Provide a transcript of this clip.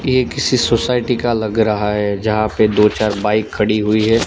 ये किसी सोसायटी का लग रहा है जहां पे दो चार बाइक खड़ी हुई है।